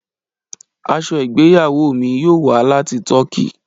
Aṣọ igbeyawo mi yoo wa lati Tọki.